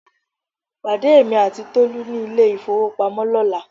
Pàdé èmi àti Tolú ní ilé ìfowópamọ́ lọ́la